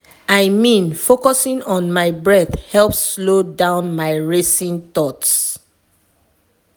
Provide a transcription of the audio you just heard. i mean focusing on my breath helps slow down my racing thoughts.